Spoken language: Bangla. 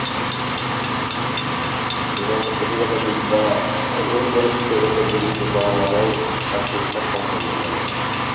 পাওয়া মানেই তার শিক্ষা সম্পূর্ণ নয়।